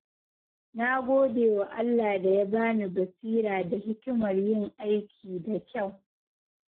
Na gode wa Allah da ya bani basira da hikimar yin aiki da kyau.